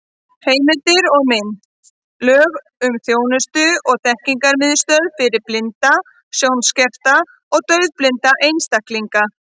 Heimildir og mynd: Lög um þjónustu- og þekkingarmiðstöð fyrir blinda, sjónskerta og daufblinda einstaklinga.